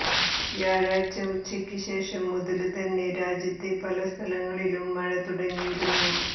വ്യാഴാഴ്ച ഉച്ചയ്ക്ക് ശേഷം മുതല് തന്നെ രാജ്യത്തെ പല സ്ഥലങ്ങളിലും മഴ തുടങ്ങിയിരുന്നു